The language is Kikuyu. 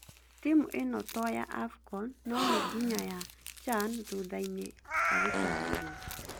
Timũ ino to ya AFCON no nĩ nginya ya CHAN thutha-inĩ’’ agĩtarĩria